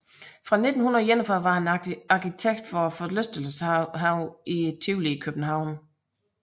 Fra 1941 var han arkitekt for forlystelseshaven Tivoli i København